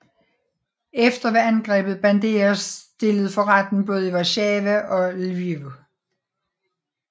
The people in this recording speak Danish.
Efter var angrebet Bandera stillet for retten både i Warszawa og Lviv